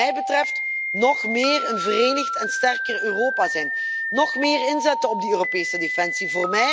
Wat mij betreft nog meer een verenigd en sterker Europa zijn, nog meer inzetten op Europese defensie.